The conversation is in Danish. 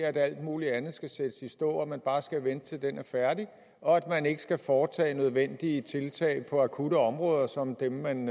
at alt muligt andet skal sættes i stå at man bare skal vente til den er færdig og at man ikke skal foretage nødvendige tiltag på akutte områder som dem man